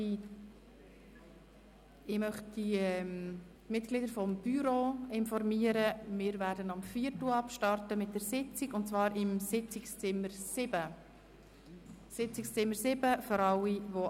Ich möchte die Mitglieder des Büros informieren, dass die Bürositzung um 18.15 Uhr im Sitzungszimmer 7 beginnt.